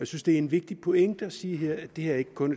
synes det er en vigtig pointe at sige her at det her ikke kun